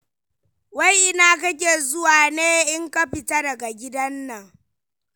Wai ina kake zuwa ne in ka fita daga gidan nan.